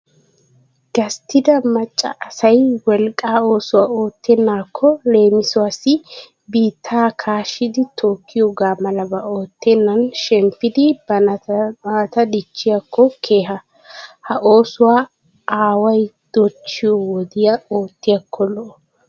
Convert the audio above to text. Gasttida macca asayi wolqqa oosuwaa oottennaakko leemisuwaassi biittaa kaashidi tookkiyoogaa malaba oottennan shemppidi banttanaata dichchiyaakko keha. Ha oosuwaa awayi dochchiyoo wodiyan oottiyaakko lo'o.